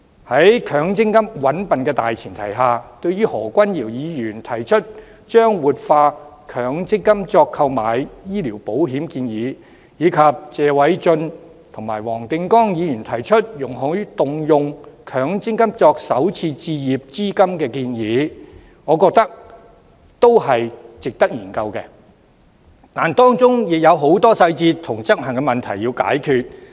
在強積金"搵笨"的大前提下，對於何君堯議員提出以強積金購買醫療保險的建議，以及謝偉俊議員與黃定光議員提出，容許動用強積金作首次置業資金的建議，我認為是值得研究的，但當中也有很多細節和執行問題需要解決。